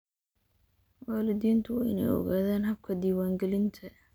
Waalidiintu waa inay ogaadaan habka diiwaangelinta.